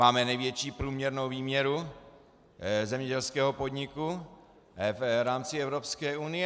Máme největší průměrnou výměru zemědělského podniku v rámci Evropské unie.